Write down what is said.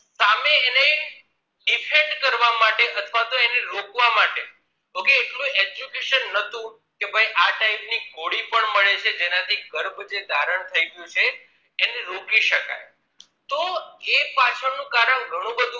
Education નહોતું કે ભાઈ આ type ની ગોળી પણ મળે છે જેનાથી જે ગર્ભ ધારણ થઇ ગયું છે એને રોકી શકાય તો એ પાછળ નું કારણ ગણું બધું